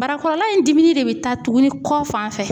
Barakɔrɔla in dimi de bɛ taa tugunni kɔ fanfɛ,